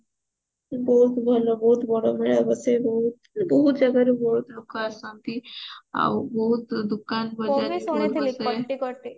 ବହୁତ ଭଲ ବହୁତ ବଡ ମେଳା ବସେ ବହୁତ ଭଉତ ଜାଗରୁ ବହୁତ ଲୋକ ଆସନ୍ତି ଆଉ ବହୁତ ଦୋକାନ ବଜାର